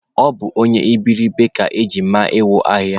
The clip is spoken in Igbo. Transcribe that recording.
Ọ bụ onye iberiribe ka eji ma iwu ahịa